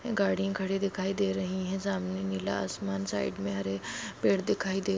गाड़ी खड़ी दिखाई दे रही हैं सामने नीला आसमान साइड में हरे पेड़ दिखाई दे--